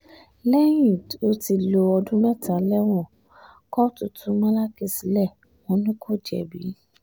lẹ́yìn tó ti lo ọdún mẹ́ta lẹ́wọ̀n um kóòtù tú malachy sílẹ̀ wọn ni um kò jẹ̀bi